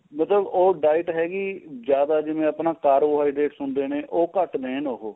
ਮਤਲਬ ਉਹ diet ਹੈਗੀ ਜਿਆਦਾ ਜਿਵੇਂ ਆਪਣਾ carbohydrates ਹੁੰਦੇ ਨੇ ਉਹ ਘੱਟ ਦੇਣ ਉਹ